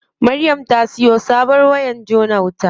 Maryam ta siyo sabon wayar jona wuta.